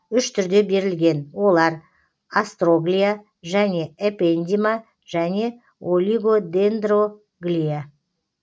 үш түрде берілген олар астроглия және эпендима және олигодендроглия